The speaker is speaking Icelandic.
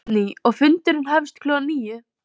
Guðný: Og fundurinn hefst klukkan níu?